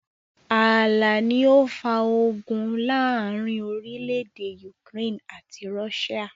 Ààlà ni ó ó fà ogun láàrín orílédé Ukraine àti Russia.